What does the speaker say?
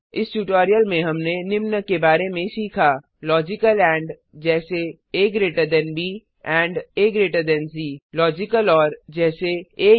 इस ट्यूटोरियल में हमने निम्न के बारे में सीखालॉजिकल एंड जैसे आ ब आ सी लॉजिकल ओर जैसे आ 0